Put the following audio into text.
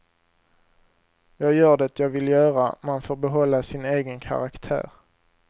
Jag gör det jag vill göra, man får behålla sig egen karaktär.